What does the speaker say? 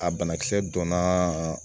A banakisɛ donna